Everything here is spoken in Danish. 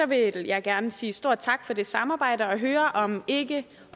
vil jeg gerne sige stor tak for det samarbejde og høre om ikke